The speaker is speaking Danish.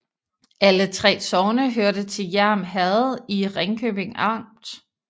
Alle 3 sogne hørte til Hjerm Herred i Ringkøbing Amt